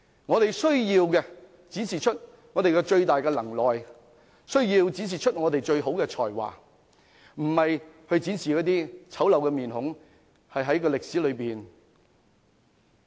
我們需要的是展示我們最大的能耐和最好的才華，而非展示醜陋的面孔，留存歷史。